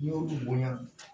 N'i y'olu bonya